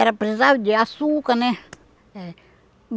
Era, precisava de açúcar, né? Eh